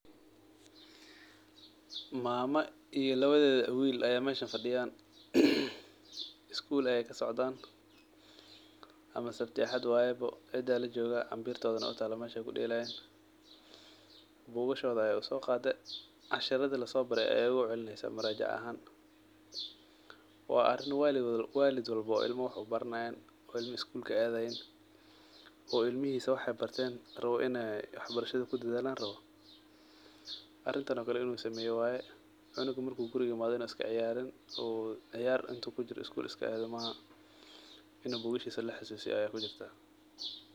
Mama iyo lawadeda wil aa meshan fadiyan, skul ay kasocdan ama sabti iyo axad waye bo cida lajogah ambirtoda aa utalaa mesha ay kudelayan bugashoda ay usoqade cashirada lasobare ay ogucelineysaah murajaca ahaan, wa arin walid walbop oo ilma wax ubaranayan , oo ilma skul kaadayan oo ilmihisa in ay wax barashada kudadhalan rawo arintan oo kale i n uu sameyo waye, wa in uu sikaciyarin maaha in bugashisa laxasusityo aa muhim ah.